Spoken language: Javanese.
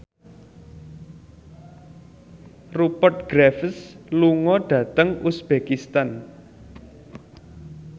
Rupert Graves lunga dhateng uzbekistan